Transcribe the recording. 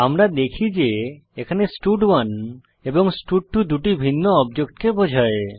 আমরা দেখি যে এখানে স্টাড1 এবং স্টাড2 দুটি ভিন্ন অবজেক্টকে বোঝায়